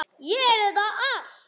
Ég heyrði þetta allt.